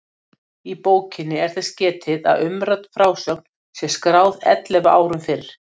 Í bókinni er þess getið að umrædd frásögn sé skráð ellefu árum fyrr.